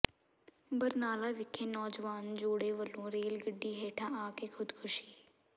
ਬਰਨਾਲਾ ਵਿਖੇ ਨੌਜਵਾਨ ਜੋੜੇ ਵੱਲੋਂ ਰੇਲ ਗੱਡੀ ਹੇਠਾਂ ਆ ਕੇ ਖੁਦਕੁਸ਼ੀ